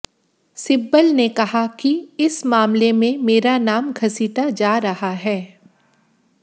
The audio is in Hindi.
सिब्बल ने कहा कि इस मामले में मेरा नाम घसीटा जा रहा है